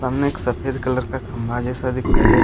सामने एक सफ़ेद कलर का खम्बा जैसा दिखाई दे रहा है।